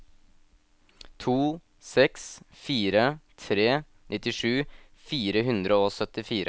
to seks fire tre nittisju fire hundre og syttifire